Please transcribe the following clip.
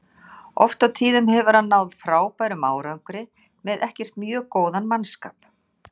Oft á tíðum hefur hann náð frábærum árangri með ekkert mjög góðan mannskap.